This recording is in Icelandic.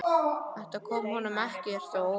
Þetta kom honum ekkert á óvart.